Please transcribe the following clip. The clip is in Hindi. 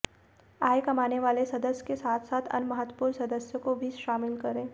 आय कमाने वाले सदस्य के साथ साथ अन्य महत्त्वपूर्ण सदस्यों को भी शामिल करें